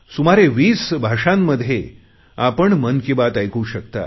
सुमारे 20 भाषांमधे आपण मन की बात ऐकू शकता